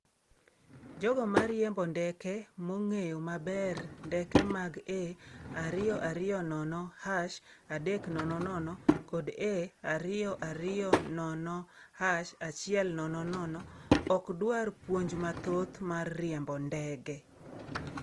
Jogo ma riembo ndeke mong'eyo maber ndeke mag A220-300 kod A220-100 ok dwar puonj mathoth mar riembo ndege.